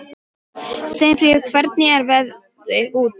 Ekki til að tala um, sagði ég.